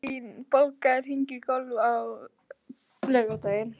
Marín, bókaðu hring í golf á laugardaginn.